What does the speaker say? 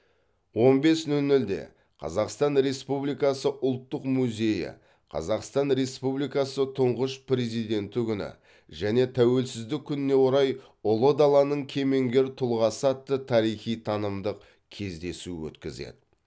он бес нөл нөлде қазақстан республикасы ұлттық музейі қазақстан республикасы тұңғыш президенті күні және тәуелсіздік күніне орай ұлы даланың кемеңгер тұлғасы атты тарихи танымдық кездесу өткізеді